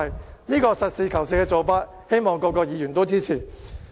對於這個實事求是的做法，希望各議員都能支持。